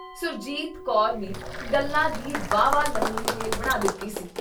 ਸੁਰਜੀਤ ਕੌਰ ਨੇ ਗੱਲਾਂ ਦੀ ਵਾਹਵਾ ਲੰਮੀ ਰੇਲ ਬਣਾ ਦਿੱਤੀ ਸੀ।